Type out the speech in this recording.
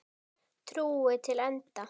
Trú til enda.